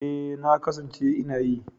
E, na kasance ina yi.